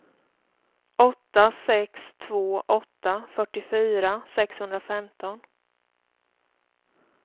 åtta sex två åtta fyrtiofyra sexhundrafemton